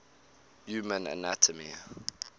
human anatomy